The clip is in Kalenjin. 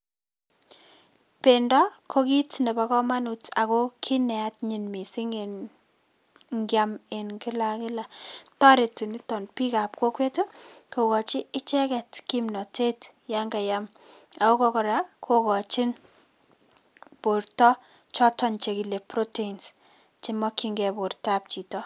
Pendo ko kit nebo komonut ago kit neanyiny missing' en ngiam en kila ak kila. Toreti niton bikab kokwet ii kokochi icheket kimnotet yon kayam ako kora kokochin borto choton chekile proteins chemokyingei bortab chito.